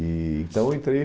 E então, eu entrei.